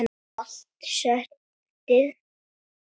Allt settið